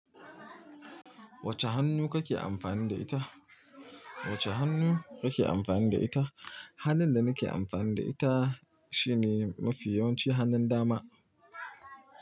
Wacce hannu kake amfani da ita? Wacce hannu kake amfani da ita? Hannun da nake amfani da ita shine mafi yawanci hannun dama.